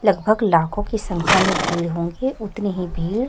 लगभग लाखों की संख्या में भीड़ होंगी उतनी ही भीड़--